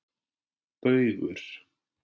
Baugur